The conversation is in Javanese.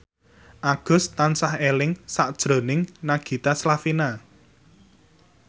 Agus tansah eling sakjroning Nagita Slavina